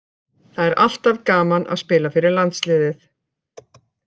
Það er alltaf gaman að spila fyrir landsliðið.